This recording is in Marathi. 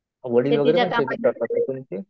वडील वगैरे पण शेती करता का तुमची?